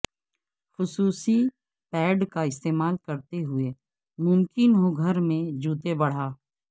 خصوصی پیڈ کا استعمال کرتے ہوئے ممکن ہو گھر میں جوتے بڑھا